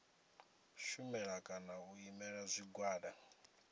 shumela kana u imela zwigwada